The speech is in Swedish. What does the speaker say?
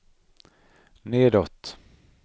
nedåt